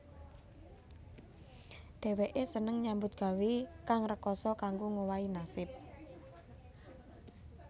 Dhèwèké seneng nyambut gawé kang rekasa kanggo ngowahi nasib